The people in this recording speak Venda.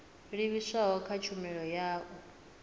livhiswaho kha tshumelo ya u